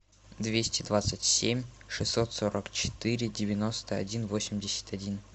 двести двадцать семь шестьсот сорок четыре девяносто один восемьдесят один